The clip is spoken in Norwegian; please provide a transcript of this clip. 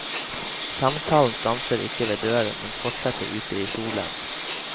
Samtalen stanser ikke ved døren, men fortsetter ute i solen.